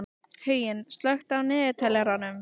Huginn, slökktu á niðurteljaranum.